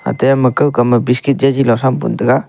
te ama kawka ma biscuit chejila thram pun tega.